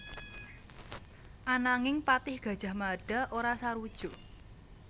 Ananging patih Gajah Mada ora sarujuk